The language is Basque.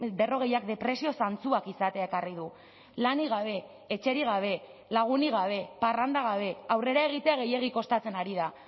berrogeiak depresio zantzuak izatea ekarri du lanik gabe etxerik gabe lagunik gabe parranda gabe aurrera egitea gehiegi kostatzen ari da